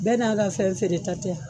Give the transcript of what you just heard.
Bɛɛ n'a ka fɛn feere ta tɛ a?